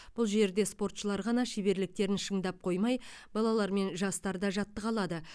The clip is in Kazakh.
бұл жерде спортшылар ғана шеберліктерін шыңдап қоймай балалар мен жастар да жаттыға алады